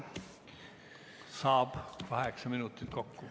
Saab, kaheksa minutit kokku.